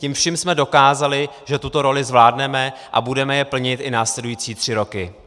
Tím vším jsme dokázali, že tuto roli zvládneme, a budeme ji plnit i následující tři roky.